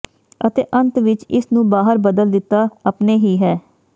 ਅਤੇ ਅੰਤ ਵਿੱਚ ਇਸ ਨੂੰ ਬਾਹਰ ਬਦਲ ਦਿੱਤਾ ਆਪਣੇ ਹੀ ਹੈ